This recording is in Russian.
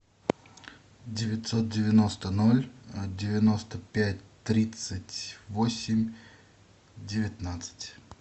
девятьсот девяносто ноль девяносто пять тридцать восемь девятнадцать